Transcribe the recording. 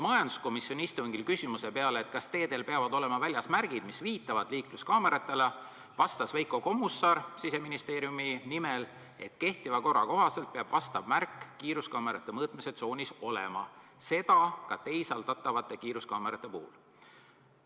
" Majanduskomisjoni istungil vastas küsimuse peale, kas teedel peavad olema väljas märgid, mis viitavad liikluskaameratele, Veiko Kommusaar Siseministeeriumi nimel, et kehtiva korra kohaselt peab vastav märk kiiruskaamerate mõõtmistsoonis olema, seda ka teisaldatavate kiiruskaamerate puhul.